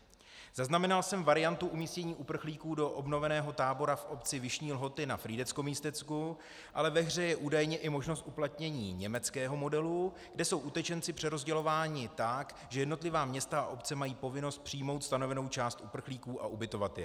Zaznamenal jsem variantu umístění uprchlíků do obnoveného tábora v obci Vyšní Lhoty na Frýdecko-Místecku, ale ve hře je údajně i možnost uplatnění německého modelu, kde jsou utečenci přerozdělováni tak, že jednotlivá města a obce mají povinnost přijmout stanovenou část uprchlíků a ubytovat je.